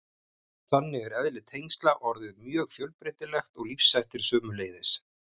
Þannig er eðli tengsla orðið mjög fjölbreytilegt og lífshættir sömuleiðis.